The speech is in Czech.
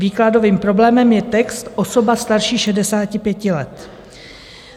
Výkladovým problémem je text "osoba starší 65 let".